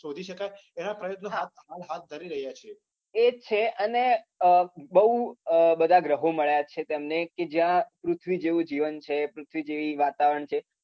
શોધી શકાય એવા પ્રયત્નો હાથ ધરી રહ્યા છે. એ જ છે અને અર બઉ બધા ગ્રહો મળ્યા છે તેમને કે જ્યા પૃથ્વી જેવુ જીવન છે. પૃથ્વી જેવુ વાતાવરણ છે.